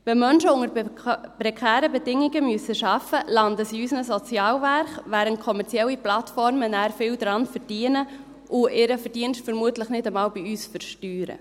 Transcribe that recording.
Wenn Menschen unter prekären Bedingungen arbeiten müssen, landen sie in unseren Sozialwerken, während kommerzielle Plattformen nachher viel daran verdienen und ihren Verdienst vermutlich nicht einmal bei uns versteuern.